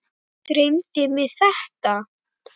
Dreymdi mig þetta?